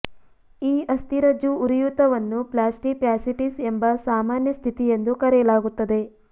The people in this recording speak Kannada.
ಈ ಅಸ್ಥಿರಜ್ಜು ಉರಿಯೂತವನ್ನು ಪ್ಲ್ಯಾಸ್ಟಿ ಫ್ಯಾಸಿಟಿಸ್ ಎಂಬ ಸಾಮಾನ್ಯ ಸ್ಥಿತಿ ಎಂದು ಕರೆಯಲಾಗುತ್ತದೆ